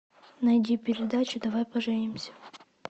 найди передачу давай поженимся